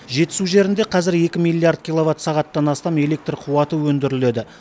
жетісу жерінде қазір екі миллиард киловатт сағаттан астам электр қуаты өндіріледі